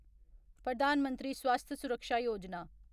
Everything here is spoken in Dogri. प्रधान मंत्री स्वास्थ्य सुरक्षा योजना